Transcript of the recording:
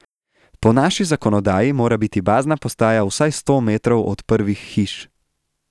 Po naši zakonodaji mora biti bazna postaja vsaj sto metrov od prvih hiš.